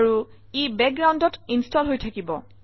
আৰু ই বেকগ্ৰাউণ্ডত ইনষ্টল হৈ থাকিব